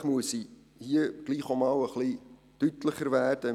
Und vielleicht muss ich hier trotzdem auch einmal etwas deutlicher werden.